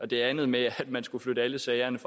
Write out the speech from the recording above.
det andet med at man skulle flytte alle sagerne